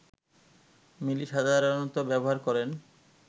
মিলি সাধারণত ব্যবহার করেন